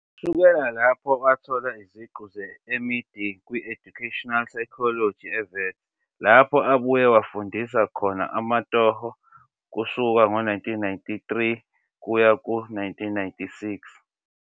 Kusukela lapho wathola iziqu ze-MEd kwi-Educational Psychology eWits, lapho abuye wafundisa khona amatoho kusuka ngo-1993 kuya ku-1996.